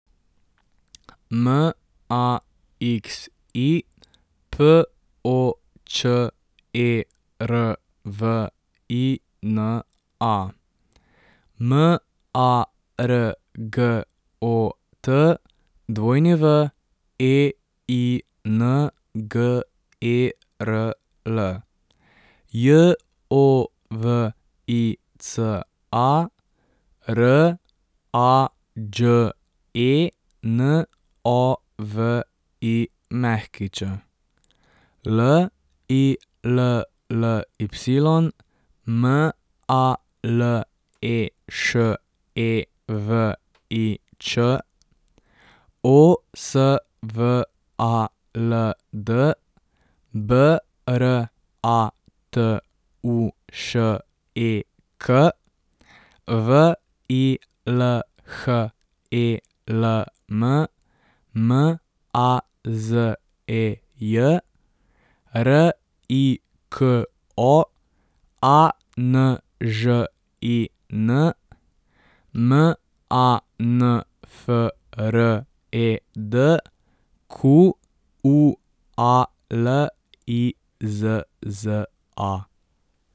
Maxi Počervina, Margot Weingerl, Jovica Rađenović, Lilly Maleševič, Osvald Bratušek, Vilhelm Mazej, Riko Anžin, Manfred Qualizza.